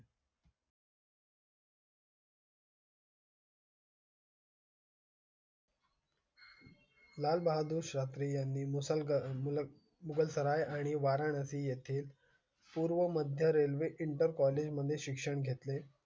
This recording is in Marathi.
लाल बहादुर शास्त्री यांनी मुसळ मुलं, मुगलसराय आणि वाराणसी येथील पूर्व मध्य railway inter college मध्ये शिक्षण घेतले.